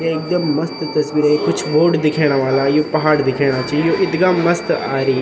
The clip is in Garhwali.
ये एकदम मस्त तस्वीर अयीं कुछ बोर्ड दिखेणा वाला यु पहाड़ दिखेणा छी यु इथगा मस्त आरई।